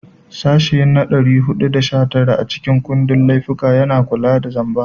Sashe na 419 a cikin kundin laifuffuka yana kula da laifin zamba.